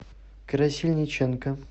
красильниченко